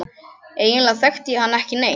Eiginlega þekkti ég hann ekki neitt.